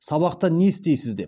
сабақта не істейсіз деп